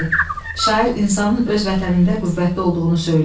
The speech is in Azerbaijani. D. Şair insanın öz vətənində qüvvətli olduğunu söyləyir.